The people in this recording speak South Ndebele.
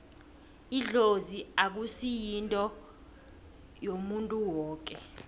idlozi akusi yinto yomuntu woke